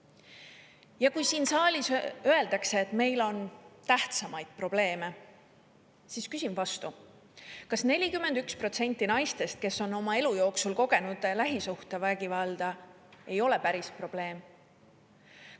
Ja kui siin saalis öeldakse, et meil on tähtsamaid probleeme, siis küsin vastu: kas 41% naistest, kes on oma elu jooksul kogenud lähisuhtevägivalda ei ole päris probleem?